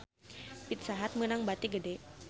Pizza Hut meunang bati gede